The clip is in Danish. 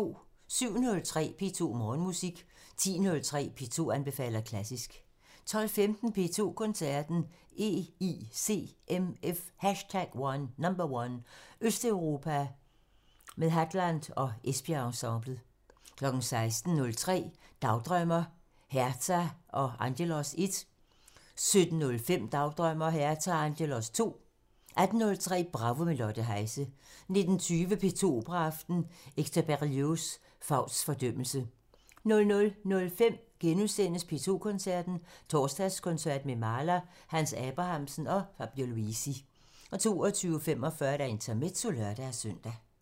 07:03: P2 Morgenmusik 10:03: P2 anbefaler klassisk 12:15: P2 Koncerten – EICMF #1: Østeuropa med Hadland og Esbjerg Ensemblet 16:03: Dagdrømmer: Herta og Angelos 1 17:05: Dagdrømmer: Herta og Angelos 2 18:03: Bravo – med Lotte Heise 19:20: P2 Operaaften – Hector Berlioz: Fausts fordømmelse 00:05: P2 Koncerten – Torsdagskoncert med Mahler, Hans Abrahamsen og Fabio Luisi * 02:45: Intermezzo (lør-søn)